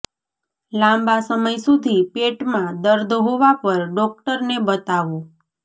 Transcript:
લાંબા સમય સુધી પેટમાં દર્દ હોવા પર ડોક્ટરને બતાવો